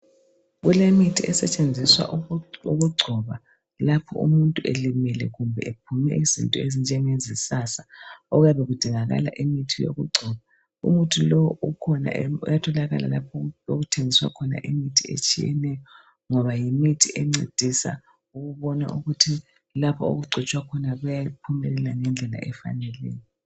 Kulemithi esetshenziswa ukugcoba, lapho umuntu elimele. Kumbe ephume izinto ezinjengezisasa. Okuyabe kudingakala imithi yokugcoba. Umithi lo ukhona, e...uyatholakala lapha okuthengiswa khona imithi, ngoba ngumuthi oncedisa ukuthi lapha okugcotshwa khona kuyaphumelela ngendlela efaneleyo.